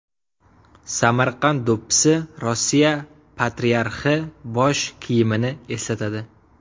Samarqand do‘ppisi Rossiya patriarxi bosh kiyimini eslatadi.